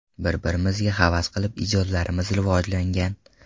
Bir-birimizga havas qilib ijodlarimiz rivojlangan.